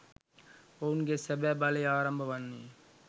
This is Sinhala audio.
ඔවුන්ගේ සැබැ බලය ආරම්භ වන්නේ